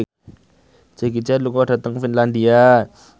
Jackie Chan lunga dhateng Finlandia